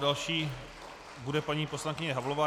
Další bude paní poslankyně Havlová.